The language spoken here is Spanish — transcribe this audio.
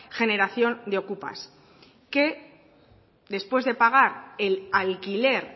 generación de okupas que después de pagar el alquiler